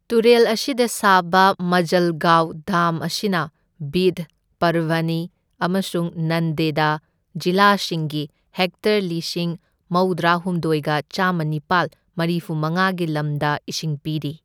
ꯇꯨꯔꯦꯜ ꯑꯁꯤꯗ ꯁꯥꯕ ꯃꯖꯜꯒꯥꯎ ꯗꯥꯝ ꯑꯁꯤꯅ ꯕꯤꯗ, ꯄꯔꯚꯅꯤ ꯑꯃꯁꯨꯡ ꯅꯟꯗꯦꯗ ꯖꯤꯂꯥꯁꯤꯡꯒꯤ ꯍꯦꯛꯇꯔ ꯂꯤꯁꯤꯡ ꯃꯧꯗ꯭ꯔꯥꯍꯨꯝꯗꯣꯢꯒ ꯆꯥꯝꯃꯅꯤꯄꯥꯜ ꯃꯔꯤꯐꯨꯃꯉꯥꯒꯤ ꯂꯝꯗ ꯏꯁꯤꯡ ꯄꯤꯔꯤ꯫